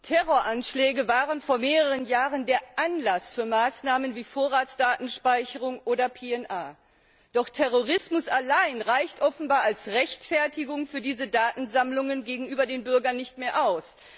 Herr Präsident! Terroranschläge waren vor mehreren Jahren der Anlass für Maßnahmen wie Vorratsdatenspeicherung oder PNR. Doch Terrorismus allein reicht offenbar als Rechtfertigung für diese Datensammlungen gegenüber den Bürgern nicht mehr aus.